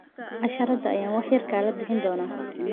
Casharrada ayaan wax yar kala bixin doonaa.